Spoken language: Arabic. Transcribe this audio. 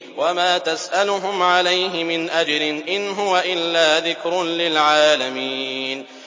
وَمَا تَسْأَلُهُمْ عَلَيْهِ مِنْ أَجْرٍ ۚ إِنْ هُوَ إِلَّا ذِكْرٌ لِّلْعَالَمِينَ